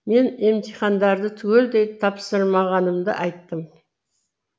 мен емтихандарды түгелдей тапсырмағанымды айттым